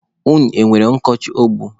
Unu enwere ọkọchị egbu?